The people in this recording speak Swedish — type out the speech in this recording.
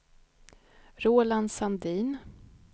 Roland Sandin